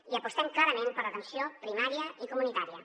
i apostem clarament per l’atenció primària i comunitària